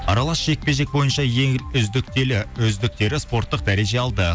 аралас жекпе жек бойынша ең үздіктері спорттық дәреже алды